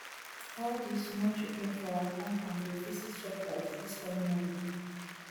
all di small children for our compound go visit shoprite dis coming holiday